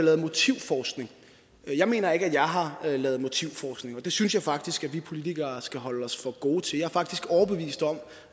lavet motivforskning jeg mener ikke at jeg har lavet motivforskning det synes jeg faktisk at vi politikere skal holde os for gode til jeg er faktisk overbevist om